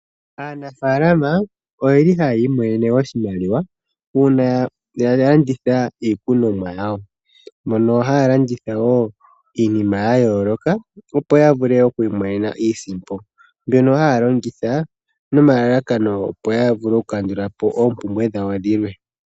Aanafaalama ohaya imonene oshimaliwa uuna yalanditha iikunomwa yawo, mono haya landitha woo iinima yayooloka opo ya mone mo iisimpo mbyono haya longitha nomalalakano opo yavule okukandula po oompumbwe dhawo dhilwe.